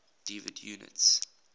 derived units